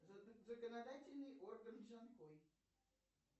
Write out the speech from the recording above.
законодательный орган джанкой